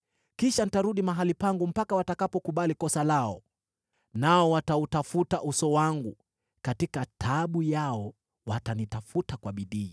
Kisha nitarudi mahali pangu mpaka watakapokubali kosa lao. Nao watautafuta uso wangu; katika taabu yao watanitafuta kwa bidii.”